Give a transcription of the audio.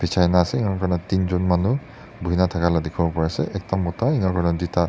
bejia na se aru enika kurina tinjon manu bhuina thaka laga dekhi pari ase ekta mota enika kurina--